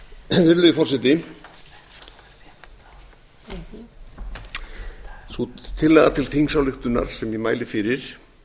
virðulegi forseti sú tillaga til þingsályktunar sem ég mæli fyrir